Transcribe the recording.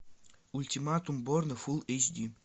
ультиматум борна фул эйч ди